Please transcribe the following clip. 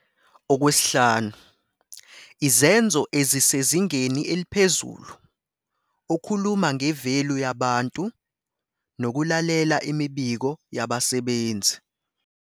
5, Izenzo ezisezingeni eliphezulu okhuluma nge-value yabantu nokulalela imibiko yabasebenzi.